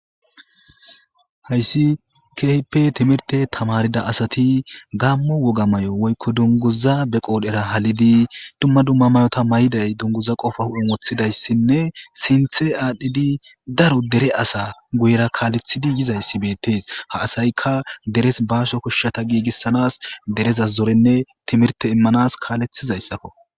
hayssi keepe timirte tamarida asati gammo woga may7o woykko dunguza be qoodhera halidi dumma dumma mayota may7day dunguza qofa hu7e woththidayssinne sinthe aadhdhidi daro dere asa guyra kaalethidi yizayssi beettees ha asayka deres baasho koshshata giigissanas dereza zorenne timirte immanas kaalethizayssakko